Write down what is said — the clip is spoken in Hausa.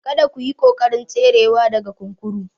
Kada ku yi ƙoƙarin tserewa daga kurkuku